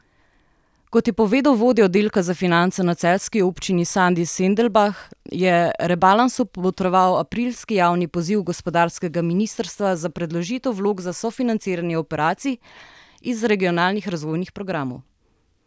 Kot je povedal vodja oddelka za finance na celjski občini Sandi Sendelbah, je rebalansu botroval aprilski javni poziv gospodarskega ministrstva za predložitev vlog za sofinanciranje operacij iz regionalnih razvojnih programov.